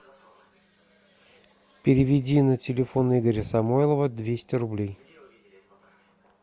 переведи на телефон игоря самойлова двести рублей